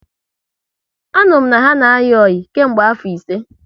Anuru m na ha na ayi oyi nke mgbe afo ise